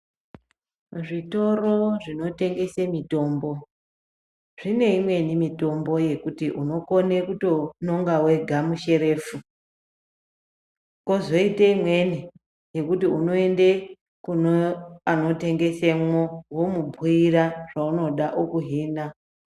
Zvitoro zvinotengese mitombo, zvineimweni mitombo yokuti unokone kuto nonga wega musherefu, kozoite imweni yekuti unoende kuneanotengese imomo womubuyira zvaunoda wokuhina .